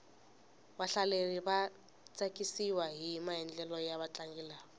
vahlaleri va tsakisiwahi maendlelo ya vatlangi lava